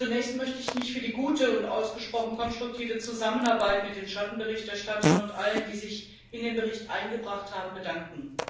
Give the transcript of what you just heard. Zunächst möchte ich mich für die gute und ausgesprochen konstruktive Zusammenarbeit mit den Schattenberichterstattern und allen, die sich in den Bericht eingebracht haben, bedanken.